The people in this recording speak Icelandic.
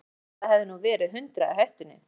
Eins og það hefði nú verið hundrað í hættunni.